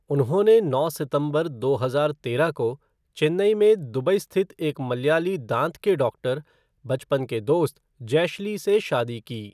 उन्होंने नौ सितंबर दो हजार तेरह को चेन्नई में दुबई स्थित एक मलयाली दाँत का डाक्टर, बचपन के दोस्त जेशली से शादी की।